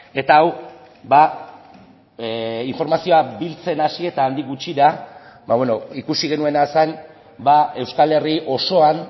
eta hau informazioa biltzen hasi eta handik gutxira ikusi genuena zen euskal herri osoan